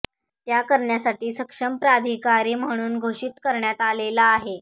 त्या करण्यासाठी सक्षम प्राधिकारी म्हणून घोषीत करण्यात आलेले आहेत